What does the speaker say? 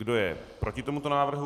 Kdo je proti tomuto návrhu?